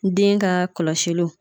Den ka kɔlɔsiliw